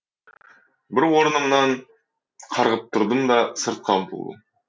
бұл орнымнан қарғып тұрдым да сыртқа ұмтылдым